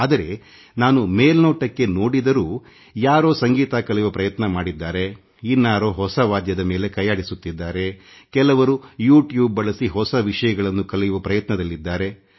ಆದರೆ ನಾನು ಮೇಲ್ನೋಟಕ್ಕೆ ನೋಡಿದಾಗಕೆಲವರು ಸಂಗೀತ ಕಲಿಯುವ ಪ್ರಯತ್ನ ಮಾಡಿದ್ದಾರೆ ಮತ್ತೆ ಕೆಲವರು ಹೊಸ ವಾದ್ಯದ ಮೇಲೆ ಕೈಯಾಡಿಸುತ್ತಿದ್ದಾರೆ ಕೆಲವರು ಯು ಟ್ಯೂಬ್ ಬಳಸಿ ಹೊಸ ವಿಷಯಗಳನ್ನು ಕಲಿಯುವ ಪ್ರಯತ್ನ ಮಾಡಿದ್ದಾರೆ